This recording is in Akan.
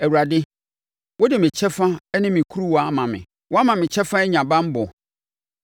Awurade, wode me kyɛfa ne me kuruwa ama me; woama me kyɛfa anya banbɔ.